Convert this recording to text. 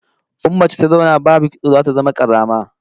In mace ta zauna babu kitso zata zama kazama